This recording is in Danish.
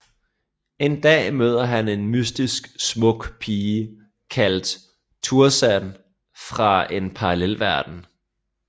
En dag møder han en mystisk smuk pige kaldet Thouars fra en parallelverden